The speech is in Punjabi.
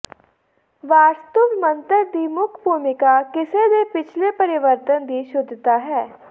ਵਾਰਸਤੁਵ ਮੰਤਰ ਦੀ ਮੁੱਖ ਭੂਮਿਕਾ ਕਿਸੇ ਦੇ ਪਿਛਲੇ ਪਰਿਵਰਤਨ ਦੀ ਸ਼ੁੱਧਤਾ ਹੈ